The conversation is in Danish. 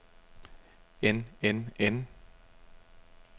end end end